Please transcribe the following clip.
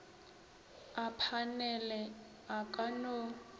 a phanele a ka no